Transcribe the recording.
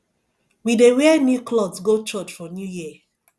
we dey wear new clot go church for new year